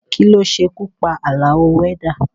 Kí ló ṣekú pa Àlàó wẹ́dà?